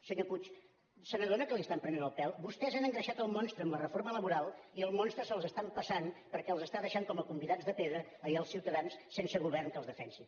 senyor puig se n’adona que li estan prenent el pèl vostès han engreixat el monstre amb la reforma laboral i el monstre se’ls està empassant perquè els està deixant com a convidats de pedra i als ciutadans sense govern que els defensi